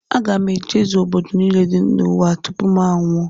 Aga m aga obodo niile dị n’ụwa tupu m anwụọ